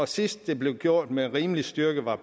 sidst det blev gjort med rimelig styrke var